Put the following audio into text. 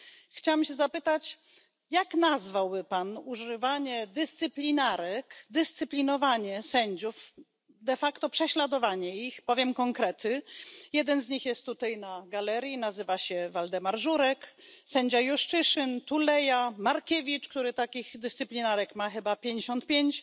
Chciałam się zapytać, jak nazwałby Pan używanie dyscyplinarek, dyscyplinowanie sędziów, de facto prześladowanie ich powiem konkrety jeden z nich jest tutaj na galerii, nazywa się Waldemar Żurek, sędzia Juszczyszyn, Tuleja, Markiewicz, który takich dyscyplinarek ma chyba pięćdziesiąt pięć